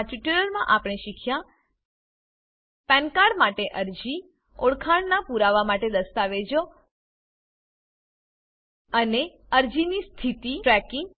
આ ટ્યુટોરીયલમાં આપણે શીખ્યા પાન કાર્ડ પેન કાર્ડ માટે અરજી ઓળખાણનાં પુરાવા માટે દસ્તાવેજો અને અને અરજીની સ્થિતિ ટ્રેકિંગ